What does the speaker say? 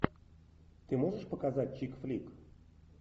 ты можешь показать чик флик